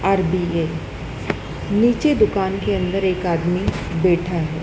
RBA नीचे दुकान के अंदर एक आदमी बैठा है।